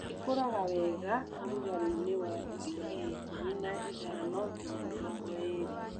ĩkũraga wega ũrũgarĩinĩ wa digrii ikũmi na ithano nginya mĩrongo ĩrĩ.